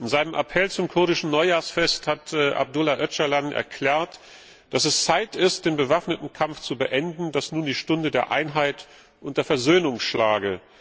In seinem Appell zum kurdischen Neujahrsfest hat Abdullah Öcalan erklärt, dass es Zeit ist, den bewaffneten Kampf zu beenden, dass nun die Stunde der Einheit und der Versöhnung schlage.